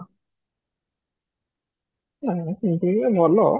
ନା ସେମିତି ସେ ଭଲ